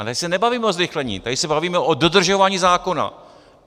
Ale tady se nebavíme o zrychlení, tady se bavíme o dodržování zákona.